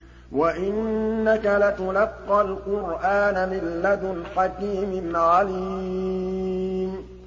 وَإِنَّكَ لَتُلَقَّى الْقُرْآنَ مِن لَّدُنْ حَكِيمٍ عَلِيمٍ